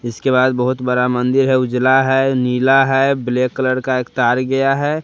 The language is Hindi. इसके बाद बहोत बड़ा मंदिर है उजला है नीला है ब्लैक कलर का एक तार गया है।